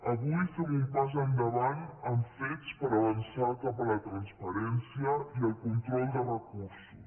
avui fem un pas endavant amb fets per avançar cap a la transparència i el control de recursos